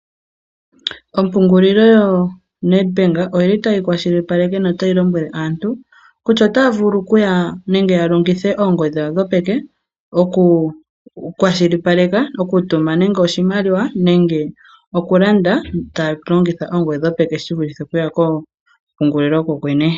Ompungulilo yoNedbank oyili tayi kwashilipaleke no tayi lombwele aantu kutya otaya vulu okuya nenge ya longithe oongodhi dhawo dhopeke, oku kwashilipaleka okutuma nenge oshimaliwa nenge oku landa taya longitha oongodhi dhawo dho peke shivulithe okuya koompungulilo kokwene.